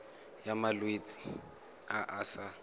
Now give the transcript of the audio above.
ya malwetse a a sa